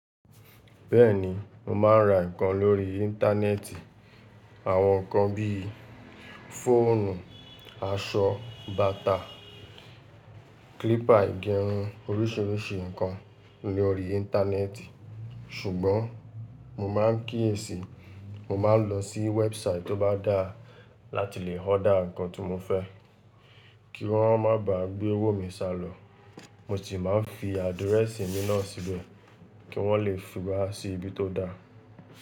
Bẹ́ẹ̀ni, mo ma ń ra ǹkan lórí Íńtánẹ́ẹ̀tì. Àwọn ǹkan bí i fóònù, aṣọ, bàtà, klípà igerun orísìírísì ǹkan lórí Íńtánẹ́ẹ̀tì. Ṣùgbọ́n mo ma ń kíyèsi, mo máa ń lọ sí wẹ́ẹ̀bùsáìtì tó bá dáa láti lè ọda ǹkan tí mo fẹ́, kí wọ́n má bà gbé owó mi sálọ. Mo sì máa ń fi àdirẹ́sì mi náà síbẹ̀, kí wọ́n lè fi wa sí ibi tó da.